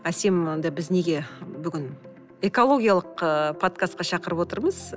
әсем онда біз неге бүгін экологиялық ы подкастқа шақырып отырмыз